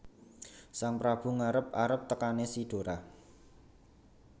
Sang Prabu ngarep arep tekané si Dora